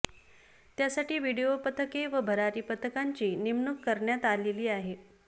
त्यासाठी व्हिडीओ पथके व भरारी पथकांची नेमणूक करण्यात आलेली आहे